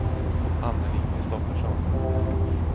Annelie Kristoffersson